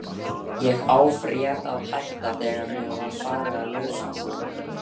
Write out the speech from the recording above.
Ég afréð að hætta, þegar mér var farið að leiðast.